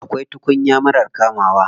Akwai tukuya marar kamawa.